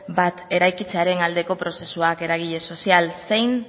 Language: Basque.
bat eraikitzearen aldeko prozesua eragile sozial zein